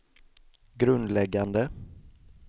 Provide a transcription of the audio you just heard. grundläggande